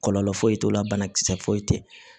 Kɔlɔlɔ foyi t'o la banakisɛ foyi tɛ yen